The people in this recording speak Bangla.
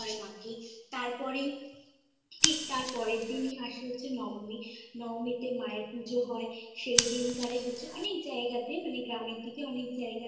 মা কে তারপরে ঠিক তার পরের দিনই আসে হচ্ছে নবমী। নবমীতে মায়ের পুজো হয় সেই দিনকরে হচ্ছে অনেক জায়গাতে মানে গ্রামের দিকে